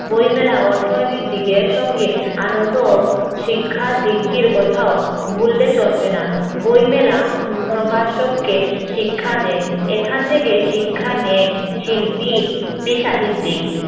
বইমেলা অর্থনৈতিক দিকের সঙ্গে আনন্দ শিক্ষার দিকটির কথাও ভুললে চলবে না বইমেলা প্রকাশককে শিক্ষা দেয় এখান থেকে শিক্ষা নেয় শিল্পী সাহিত্যিক